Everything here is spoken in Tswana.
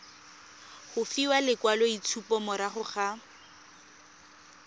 go fiwa lekwaloitshupo morago ga